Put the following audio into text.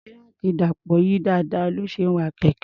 Kíráànkì Dàpọ̀ yí dáadáa ní ó ṣe ń wa kẹ̀kẹ́.